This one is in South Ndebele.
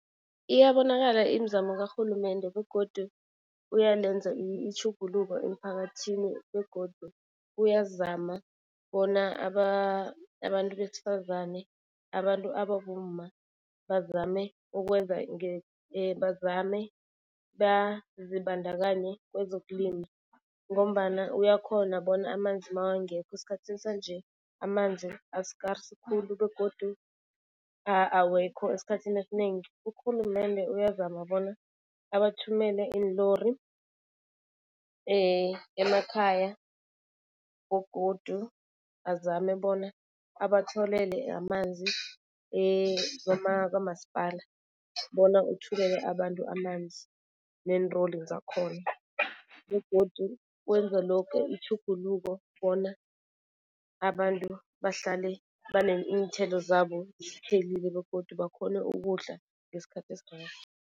Iyabonakala imizamo karhulumende begodu uyalenza itjhuguluko emphakathini begodu uyazama bona abantu besifazane, abantu ababomma bazame ukwenza bazame bazibandakanye kwezokulima. Ngombana uyakhona bona amanzi mawangekho esikhathini sanje, amanzi askarisi khulu begodu awekho esikhathini esinengi. Urhulumende uyazama bona awathumele iinlori emakhaya begodu azame bona abatholele amanzi kamasipala bona uthumele abantu amanzi neenlori zakhona. Begodu wenza loke itjhuguluko bona abantu bahlale iinthelo zabo zithelile begodu bakhone ukudla ngesikhathi esirerhe.